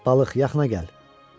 Balıq, yaxına gəl.